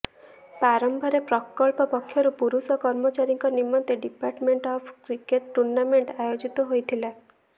ପ୍ରାରମ୍ଭରେ ପ୍ରକଳ୍ପ ପକ୍ଷରୁ ପୁରୁଷ କର୍ମଚାରୀଙ୍କ ନିମନ୍ତେ ଡିପାର୍ଟମେଂଟ ଅଫ୍ କ୍ରିକେଟ ଟୁର୍ଣ୍ଣାମେଂଟ ଆୟୋଜିତ ହୋଇଥିଲା